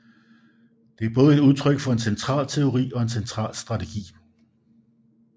Det er både et udtryk for en central teori og en central strategi